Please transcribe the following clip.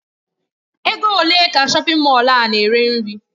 Ego ole ka shọpin Mọll a na-eri nri?